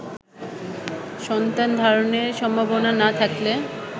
সন্তান ধারণের সম্ভাবনা না থাকলে